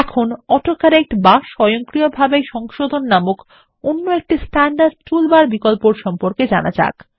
এখন autocorrect বা স্বয়ংক্রিয়ভাবে সংশোধন নামক অন্য একটি স্ট্যান্ডার্ড টুল বার এরবিকল্প সম্পর্কে জানা যাক